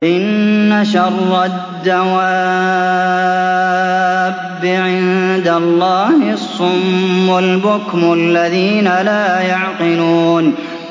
۞ إِنَّ شَرَّ الدَّوَابِّ عِندَ اللَّهِ الصُّمُّ الْبُكْمُ الَّذِينَ لَا يَعْقِلُونَ